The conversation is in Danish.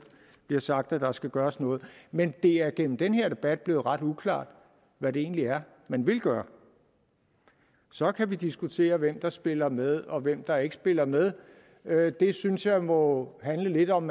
bliver sagt at der skal gøres noget men det er gennem den her debat blevet ret uklart hvad det egentlig er man vil gøre så kan vi diskutere hvem der spiller med og hvem der ikke spiller med det synes jeg må handle lidt om